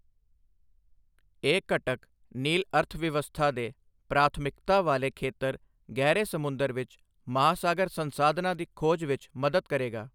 ਇਹ ਘਟਕ ਨੀਲ ਅਰਥਵਿਵਸਥਾ ਦੇ ਪ੍ਰਾਥਮਿਕਤਾ ਵਾਲੇ ਖੇਤਰ ਗਹਿਰੇ ਸਮੁੰਦਰ ਵਿੱਚ ਮਹਾਸਾਗਰ ਸੰਸਾਧਨਾਂ ਦੀ ਖੋਜ ਵਿੱਚ ਮਦਦ ਕਰੇਗਾ।